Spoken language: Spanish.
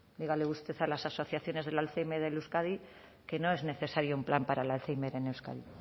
dígale usted a las asociaciones del alzhéimer en euskadi que no es necesario un plan para el alzhéimer en euskadi